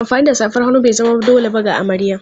Amfani da safar hannu bai zama dole ba ga amarya.